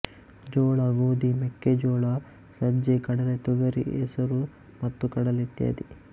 ಜೋಳ ಗೋಧಿ ಮೆಕ್ಕೆಜೋಳ ಸಜ್ಜೆ ಕಡಲೆ ತೊಗರಿ ಹೆಸರು ಮತ್ತು ಕಡಲೆ ಇತ್ಯಾದಿ